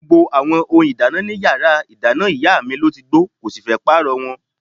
Gbogbo àwọn ohun ìdáná in yàrá ìdáná ìyá mi ló ti gbó, kò sì fẹ́ pààrọ̀ wọn.